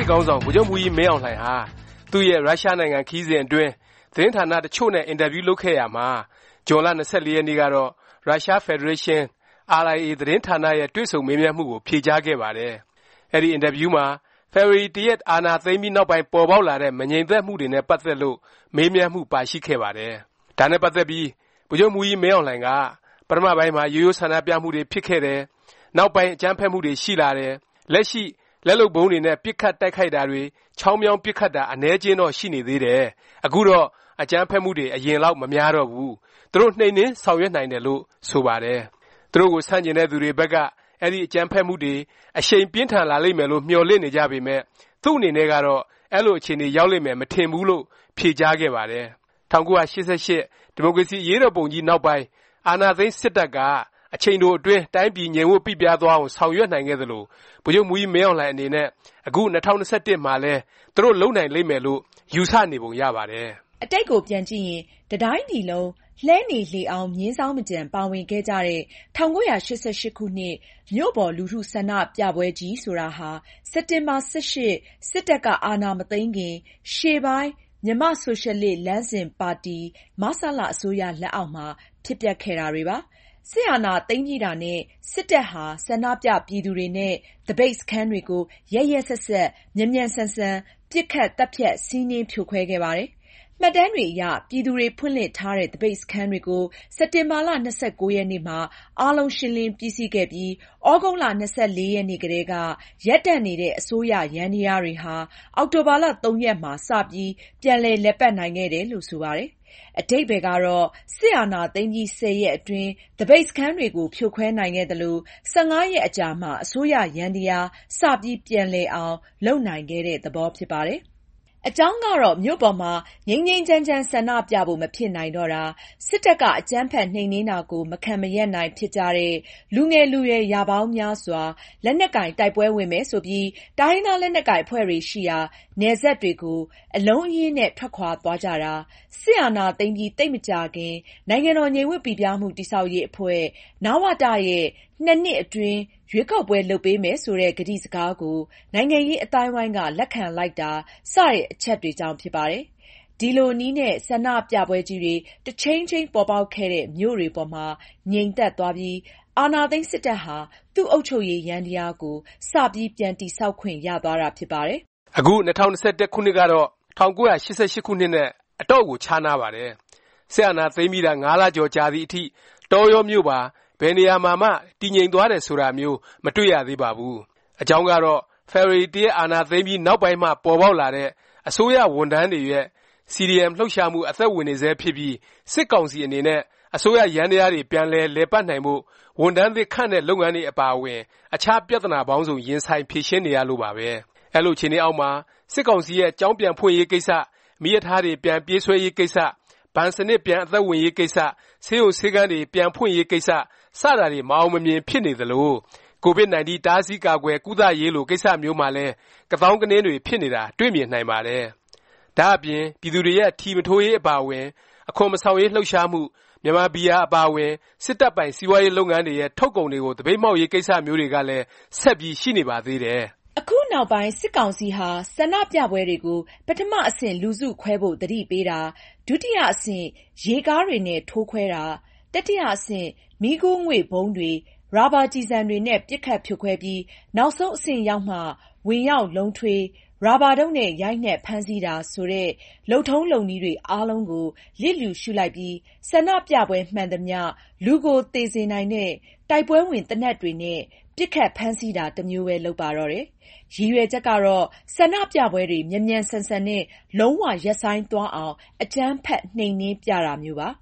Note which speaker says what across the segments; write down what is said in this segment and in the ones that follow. Speaker 1: စ်ခေါင်းဆောင် ဗိုလ်ချုပ်မှူးကြီး မင်းအောင်လှိုင်ဟာ သူ့ရဲ့ ရုရှားနိုင်ငံ ခရီးစဉ်အတွင်း သတင်းဌာန တစ်ချို့နဲ့ အင်တာဗျူး လုပ်ခဲ့ရာမှာ ဇွန်လ ၂၄ ရက်နေ့ကတော့ ရုရှားဖက်ဒရေးရှင်း RIA သတင်းဌာနရဲ့ တွေ့ဆုံမေးမြန်းမှုကို ဖြေကြားခဲ့ပါတယ်။ အဲဒီ အင်တာဗျူးမှာ ဖေဖေါ်ဝါရီ ၁ ရက် စစ်အာဏာသိမ်းပြီး နောက်ပိုင်း ပေါ်ပေါက်လာတဲ့ မငြိမ်မသက်မှုတွေနဲ့ ပတ်သက်လို့ မေးမြန်းမှု ပါရှိခဲ့ပါတယ်။ ဒါနဲ့ပတ်သက်ပြီး ဗိုလ်ချုပ်မှူးကြီး မင်းအောင်လှိုင်က ပထမပိုင်းမှာ ရိုးရိုး ဆန္ဒပြမှုတွေ ဖြစ်ခဲ့တယ်၊ နောက်ပိုင်း အကြမ်းဖက်မှုတွေ ရှိလာတယ်၊ လက်ရှိ လက်လုပ်ဗုံးတွေနဲ့ ပစ်ခတ်တိုက်ခိုက်တာတွေ၊ ချောင်းမြောင်း ပစ်ခတ်တာ အနည်းအကျဉ်းတော့ ရှိနေသေးတယ်၊ အခုတော့ အကြမ်းဖက်မှုတွေ အရင်လောက် မများတော့ဘူး၊ သူတို့ နှိမ်နင်း ဆောင်ရွက်နိုင်တယ် လို့ ဆိုပါတယ်။ သူတို့ကို ဆန့်ကျင်တဲ့သူတွေဘက်က အဲဒီ အကြမ်းဖက်မှုတွေ အရှိန် ပြင်းထန်လာလိမ့်မယ်လို့ မျှော်လင့်နေကြပေမယ့် သူ့အနေနဲ့ကတော့ အဲလို အခြေအနေ ရောက်လိမ့်မယ် မထင်ဘူးလို့ ဖြေကြားခဲ့ပါတယ်။ ၁၉၈၈ ဒီမိုကရေစီ အရေးတော်ပုံကြီး နောက်ပိုင်း အာဏာသိမ်းစစ်တပ်က အချိန်တိုအတွင်း တိုင်းပြည် ငြိမ်ဝပ်ပိပြားသွားအောင် ဆောင်ရွက်နိုင်ခဲ့သလို ဗိုလ်ချုပ်မှူးကြီး မင်းအောင်လှိုင် အနေနဲ့ အခု ၂၀၂၁ မှာလည်း သူတို့ လုပ်နိုင်လိမ့်မယ်လို့ ယူဆနေပုံ ရပါတယ်
Speaker 2: ။ အတိတ်ကို ပြန်ကြည့်ရင် တတိုင်းပြည်လုံး လှည်းနေလှေအောင်း မြင်းဇောင်းမကျန် ပါဝင်ခဲ့ကြတဲ့ ၁၉၈၈ ခုနှစ် မြို့ပေါ် လူထု ဆန္ဒပြပွဲကြီးတွေဆိုတာဟာ စက်တင်ဘာ ၁၈ စစ်တပ်က အာဏာမသိမ်းခင် ရှေ့ပိုင်း မြန်မာ့ဆိုရှယ်လစ် လမ်းစဉ်ပါတီ အစိုးရ လက်အောက်မှာ ဖြစ်ပျက်ခဲ့တာတွေပါ။ စစ်အာဏာသိမ်းပြီးတာနဲ့ စစ်တပ်ဟာ ဆန္ဒပြ ပြည်သူတွေနဲ့ သပိတ်စခန်းတွေကို ရက်ရက်စက်စက် မြန်မြန်ဆန်ဆန် ပစ်ခတ်၊ သတ်ဖြတ်၊ စီးနင်း ဖြိုခွင်းခဲ့ပါတယ်။ မှတ်တမ်းတွေအရ ပြည်သူတွေ ဖွင့်လှစ်ထားတဲ့ သပိတ်စခန်းတွေကို စက်တင်ဘာ ၂၉ ရက်နေ့မှာ အားလုံး ရှင်းလင်း ပြီးစီးခဲ့ပြီး၊ သြဂုတ် ၂၄ ရက်နေ့ကတည်းက ရပ်တန့်နေတဲ့ အစိုးရယန္တယားတွေဟာ အောက်တိုဘာ ၃ ရက်မှာ စပြီး ပြန်လည်ပတ်နိုင်ခဲ့တယ် လို့ ဆိုပါတယ်။ အဓိပ္ပါယ်ကတော့ စစ်အာဏာသိမ်းပြီး ၁၀ ရက်အတွင်း သပိတ်စခန်းတွေကို ဖြိုခွဲနိုင်ခဲ့သလို၊ ၁၅ ရက်အကြာမှာ အစိုးရယန္တယား စပြီး ပြန်လည်အောင် လုပ်နိုင်ခဲ့တဲ့ သဘော ဖြစ်ပါတယ်။ အကြောင်းကတော့ မြို့ပေါ်မှာ ငြိမ်းငြိမ်းချမ်းချမ်း ဆန္ဒပြဖို့ မဖြစ်နိုင်တော့တာ၊ စစ်တပ်က အကြမ်းဖက် နှိမ်နင်းတာကို မခံမရပ်နိုင်ဖြစ်ကြတဲ့ လူငယ်လူရွယ် ရာပေါင်းများစွာ လက်နက်ကိုင် တိုက်ပွဲဝင်မယ် ဆိုပြီး တိုင်းရင်းသား လက်နက်ကိုင် အဖွဲ့တွေ ရှိရာ နယ်စပ်တွေကို အလုံးအရင်းနဲ့ ထွက်ခွာသွားကြတာ၊ စစ်အာဏာသိမ်းပြီး သိပ်မကြာခင် နိုင်ငံတော်ငြိမ်ဝပ်ပိပြားမှု တည်ဆောက်ရေးအဖွဲ့ နဝတ ရဲ့ ၂ နှစ်အတွင်း ရွေးကောက်ပွဲ လုပ်ပေးမယ် ဆိုတဲ့ ကတိစကားကို နိုင်ငံရေးအသိုင်းအဝိုင်းက လက်ခံလိုက်တာ စတဲ့ အချက်တွေကြောင့် ဖြစ်ပါတယ်။ ဒီလိုနည်းနဲ့ ဆန္ဒပြပွဲကြီးတွေ တခြိမ်းခြိမ်း ပေါ်ပေါက်ခဲ့တဲ့ မြို့တွေပေါ်မှာ ငြိမ်သက်သွားပြီး အာဏာသိမ်း စစ်တပ်ဟာ သူ့အုပ်ချုပ်ရေး ယန္တယားကို စပြီး ပြန် တည်ဆောက်ခွင့်ရသွားတာ ဖြစ်ပါတယ်
Speaker 1: ။ အခု ၂၀၂၁ ခုနှစ်ကတော့ ၁၉၈၈ ခုနှစ်နဲ့ အတော့်ကို ခြားနားပါတယ်။ စစ်အာဏာသိမ်းပြီးတာ ၅ လ ကျော်ကြာလာသည်အထိ တောရောမြို့ပါ ဘယ်နေရာမှာမှ တည်ငြိမ်သွားတယ် ဆိုတာမျိုး မတွေ့ရသေးပါဘူး။ အကြောင်းကတော့ ဖေဖေါ်ဝါရီ ၁ ရက် အာဏာသိမ်းပြီး နောက်ပိုင်းမှ ပေါ်ပေါက်လာတဲ့ အစိုးရဝန်ထမ်းတွေရဲ့ CDM လှုပ်ရှားမှု အသက်ဝင်နေဆဲ ဖြစ်ပြီး စစ်ကောင်စီ အနေနဲ့ အစိုးရယန္တယားတွေ ပြန်လည်ပတ်နိုင်ဖို့ ဝန်ထမ်းသစ် ခန့်တဲ့ လုပ်ငန်းတွေအပါအဝင် အခြား ပြသနာပေါင်းစုံ ရင်ဆိုင် ဖြေရှင်းနေရလို့ပါပဲ။ အဲလို အခြေအနေအောက်မှာ စစ်ကောင်စီရဲ့ ကျောင်းပြန်ဖွင့်ရေး ကိစ္စ၊ မီးရထားတွေ ပြန်ပြေးဆွဲရေးကိစ္စ၊ ဘဏ်စနစ် ပြန်အသက်ဝင်ရေး ကိစ္စ၊ ဆေးရုံဆေးခန်းတွေ ပြန်ဖွင့်ရေးကိစ္စ စတာတွေ မအောင်မမြင် ဖြစ်နေသလို၊ Covid-19 တားဆီး၊ကာကွယ်၊ ကုသရေးလို ကိစ္စမျိုးမှာလည်း ကသောင်းကနင်းတွေ ဖြစ်နေတာ တွေ့မြင်နိုင်ပါတယ်။ ဒါ့အပြင် ပြည်သူတွေရဲ့ ထီမထိုးရေး အပါအဝင် အခွန်မဆောင်ရေး လှုပ်ရှားမှု၊ မြန်မာ ဘီယာ အပါအဝင် စစ်တပ်ပိုင်စီးပွားရေး လုပ်ငန်းတွေရဲ့ ထုတ်ကုန်တွေကို သပိတ်မှောက်ရေး ကိစ္စမျိုးတွေကလည်း ဆက်ပြီး ရှိနေပါသေးတယ်။
Speaker 2: အခုနောက်ပိုင်း စစ်ကောင်စီဟာ ဆန္ဒပြပွဲတွေကို ပထမ အဆင့် လူစုခွဲဖို့ သတိပေးတာ၊ ဒုတိယ အဆင့် ရေကားတွေနဲ့ ထိုးခွဲတာ၊ တတိယ အဆင့် မီးခိုးငွေ့ဗုံးတွေ၊ ရာဘာကျည်ဆံတွေနဲ့ ပစ်ခတ် ဖြိုခွဲပြီး နောက်ဆုံး အဆင့်ရောက်မှ ဝင်ရောက် လုံးထွေး၊ ရာဘာတုတ်နဲ့ ရိုက်နှိက် ဖမ်းဆီးတာ ဆိုတဲ့ လုပ်ထုံးလုပ်နည်းတွေ အားလုံးကို လျစ်လျူရှုလိုက်ပြီး ဆန္ဒပြပွဲမှန်သမျှ လူကိုသေစေနိုင်တဲ့ တိုက်ပွဲဝင် သေနတ်တွေနဲ့ ပစ်ခတ် ဖမ်းဆီးတာ တမျိုးပဲ လုပ်ပါတော့တယ်။ ရည်ရွယ်ချက်ကတော့ ဆန္ဒပြပွဲတွေ မြန်မြန်ဆန်ဆန်နဲ့ လုံး၀ ရပ်ဆိုင်းသွားအောင် အကြမ်းဖက် နှိမ်နင်းပြတာမျိုးပါ။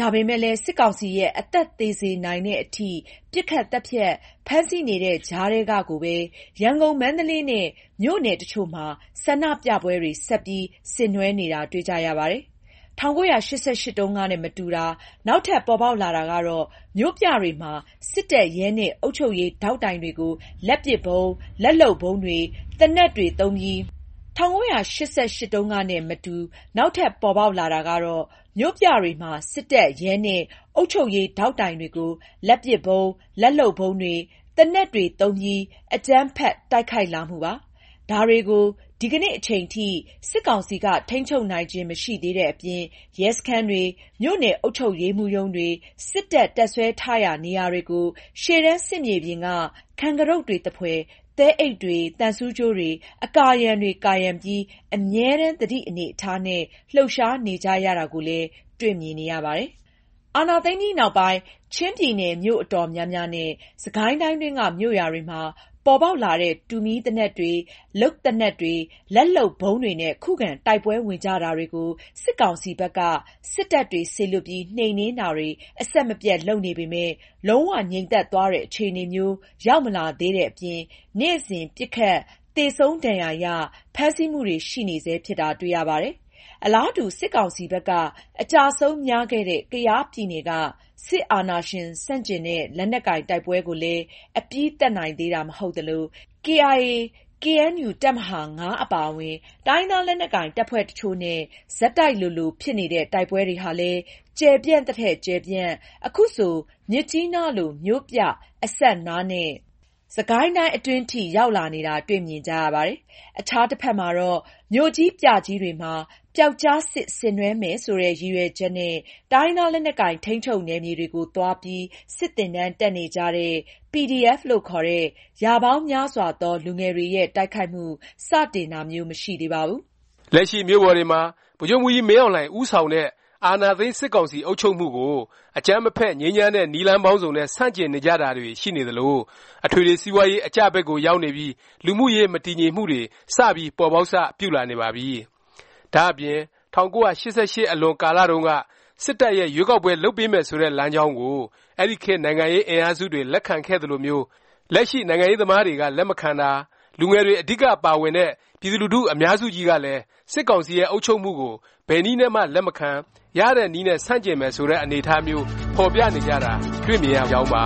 Speaker 2: ဒါပေမယ့်လည်း စစ်ကောင်စီရဲ့ အသက်သေစေနိုင်သည် အထိ ပစ်ခတ် သတ်ဖြတ်၊ ဖမ်းဆီး နေတဲ့ကြားထဲကကိုပဲ ရန်ကုန်၊ မန္တလေးနဲ့ မြို့နယ် တစ်ချို့မှာ ဆန္ဒပြပွဲတွေ ဆက်ပြီး ဆင်နွဲှနေတာ တွေ့ကြရပါတယ်။ ၁၉၈၈ တုန်းကနဲ့မတူ နောက်ထပ် ပေါ်ပေါက်လာတာကတော့ မြို့ပြတွေမှာ စစ်တပ်၊ ရဲ နဲ့ အုပ်ချုပ်ရေး ဒေါက်တိုင်တွေကို လက်ပစ်ဗုံး၊ လက်လုပ်ဗုံးတွေ၊ သေနတ်တွေ သုံးပြီး အကြမ်းဖက် တိုက်ခိုက်လာမှုပါ။ ဒါတွေကို ဒီကနေ့အချိန်ထိ စစ်ကောင်စီက ထိန်းချုပ်နိုင်ခြင်း မရှိသေးတဲ့အပြင် ရဲစခန်းတွေ၊ မြို့နယ် အုပ်ချုပ်ရေးမှူးရုံးတွေ၊ စစ်တပ် တပ်စွဲထားရာ နေရာတွေကို ရှေ့တန်း စစ်မြေပြင်က ခံကတုတ်တွေသဖွယ် သဲအိပ်တွေ၊ သံဆူးကြိုးတွေ၊ အကာအရံတွေကာရံပြီး အမြဲတန်း သတိအနေအထားနဲ့ လှုပ်ရှားနေကြရတာကိုလည်း တွေ့မြင်နေရပါတယ်။ အာဏာသိမ်းပြီးနောက်ပိုင်း ချင်းပြည်နယ် မြို့အတော်များများနဲ့ စစ်ကိုင်းတိုင်းတွင်းက မြို့ရွာတွေမှာ ပေါ်ပေါက်လာတဲ့ တူမီးသေနတ်တွေ၊ လုပ်သေနတ်တွေ၊ လက်လုပ်ဗုံးတွေနဲ့ ခုခံတိုက်ပွဲဝင်ကြတာတွေကို စစ်ကောင်စီဘက်က စစ်တပ်တွေ စေလွှတ်ပြီး နှိမ်နင်းတာတွေ အဆက်မပြတ် လုပ်နေပေမယ့် လုံး၀ ငြိမ်သက်သွားတဲ့ အခြေအနေမျိုး ရောက်မလာသေးတဲ့အပြင် နေ့စဉ် ပစ်ခတ်၊ သေဆုံး၊ ဒဏ်ရာရ၊ ဖမ်းဆီးမှုတွေ ရှိနေဆဲဖြစ်တာ တွေ့ရပါတယ်။ အလားတူ စစ်ကောင်စီဘက်က အကျအဆုံး များခဲ့တဲ့ ကယားပြည်နယ်က စစ်အာဏာရှင်ဆန့်ကျင်တဲ့ လက်နက်ကိုင် တိုက်ပွဲကိုလည်း အပြီးသတ်နိုင်သေးတာ မဟုတ်သလို၊ ကေအိုင်အေ၊ ကေအဲန်ယူ တပ်မဟာ ၅ အပါအဝင် တိုင်းရင်းသား လက်နက်ကိုင် တပ်ဖွဲ့တချို့နဲ့ ဆက်တိုက်လိုလို ဖြစ်နေတဲ့ တိုက်ပွဲတွေဟာလည်း ကျယ်ပြန့်သထက် ကျယ်ပြန့်၊ အခုဆို မြစ်ကြီးနားလို မြို့ပြ အစပ်နားနဲ့ စစ်ကိုင်းတိုင်း အတွင်းအထိ ရောက်လာနေတာ တွေ့မြင်ကြရပါတယ်။ အခြားတစ်ဖက်မှာတော့ မြို့ကြီး ပြကြီးတွေမှာ ပြောက်ကျားစစ် ဆင်နွဲှမယ် ဆိုတဲ့ ရည်ရွယ်ချက်နဲ့ တိုင်းရင်းသား လက်နက်ကိုင် ထိန်းချုပ်နယ်မြေတွေကို သွားပြီး စစ်သင်တန်းတက်နေကြတဲ့ PDF လို့ခေါ်တဲ့ ရာပေါင်းများစွာသော လူငယ်တွေရဲ့ တိုက်ခိုက်မှု စတင်တာမျိုး မရှိသေးပါဘူး
Speaker 1: ။ လက်ရှိ မြို့ပေါ်တွေမှာ ဗိုလ်ချုပ်မှူးကြီး မင်းအောင်လှိုင် ဦးဆောင်တဲ့ အာဏာသိမ်း စစ်ကောင်စီ အုပ်ချုပ်မှုကို အကြမ်းမဖက် ငြိမ်းချမ်းတဲ့နည်းပေါင်းစုံနဲ့ ဆန့်ကျင်နေကြတာတွေ ရှိနေသလို၊ အထွေထွေ စီးပွားရေး အကျဘက်ကို ရောက်နေပြီး လူမှုရေး မတည်ငြိမ်မှုတွေ စပြီး ပေါ်ပေါက်စ ပြုလာနေပါပြီ။ ဒါ့အပြင် ၁၉၈၈ အလွန် ကာလတုန်းက စစ်တပ်ရဲ့ ရွေးကောက်ပွဲ လုပ်ပေးမယ် ဆိုတဲ့ လမ်းကြောင်းကို အဲဒီခေတ် နိုင်ငံရေး အင်အားစုတွေ လက်ခံခဲ့သလိုမျိုး လက်ရှိ နိုင်ငံရေးသမားတွေက လက်မခံတာ၊ လူငယ်တွေ အဓိက ပါဝင်တဲ့ ပြည်သူလူထု အများစုကြီးကလည်း စစ်ကောင်စီရဲ့ အုပ်ချုပ်မှုကို ဘယ်နည်းနဲ့မှ လက်မခံ၊ ရတဲ့နည်းနဲ့ ဆန့်ကျင်မယ် ဆိုတဲ့ အနေအထားမျိုး ဖော်ပြနေကြတာ တွေ့မြင်နေရကြောင်းပါ